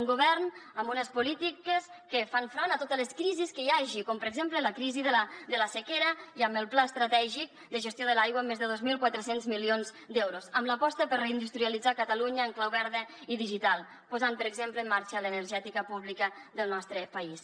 un govern amb unes polítiques que fan front a totes les crisis que hi hagi com per exemple la crisi de la sequera i amb el pla estratègic de gestió de l’aigua amb més de dos mil quatre cents milions d’euros amb l’aposta per reindustrialitzar catalunya en clau verda i digital posant per exemple en marxa l’energètica pública del nostre país